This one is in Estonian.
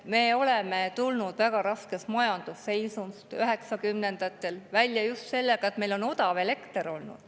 Me oleme tulnud väga raskest majandusseisust 1990‑ndatel välja just selle abil, et meil on olnud odav elekter.